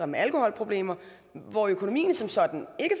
med alkoholproblemer hvor økonomien som sådan ikke